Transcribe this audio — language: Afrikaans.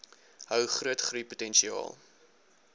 hou groot groeipotensiaal